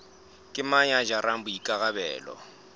ke mang ya jarang boikarabelo